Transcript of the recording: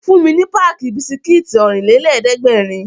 Fún mi ní páàkì bisikítì Ọ̀rìnlélẹ̀ẹ́dẹ́gbèrin!